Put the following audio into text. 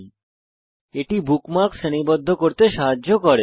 tags bookmarks শ্রেণীবদ্ধ করতে সাহায্য করে